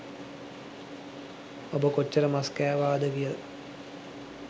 ඔබ කොච්චර මස් කෑවද කියලා